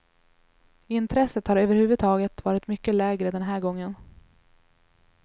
Intresset har överhuvudtaget varit mycket lägre den här gången.